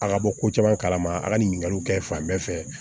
A ka bɔ ko caman kalama a ka ɲinikaliw kɛ fan bɛɛ fɛ